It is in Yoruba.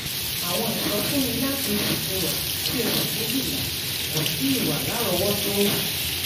àwọn ìsọfúnni láti oṣù kewa sí osu kejila kò tíì wà lárọ̀ọ́wọ́tó.